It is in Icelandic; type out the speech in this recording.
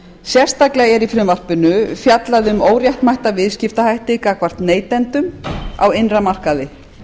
sérstaklega er í frumvarpinu fjallað um óréttmæta viðskiptahætti gagnvart neytendum á innra markaði